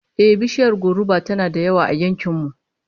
Ehh, bishiyar goruba tana da yawa a yankin mu